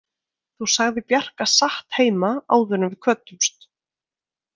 Þú sagðir Bjarka satt heima áður en við kvöddumst.